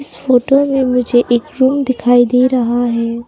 इस फोटो में मुझे एक रूम दिखाई दे रहा है।